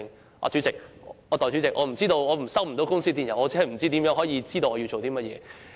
代理主席，如果接收不到公司電郵，怎能知道有何工作？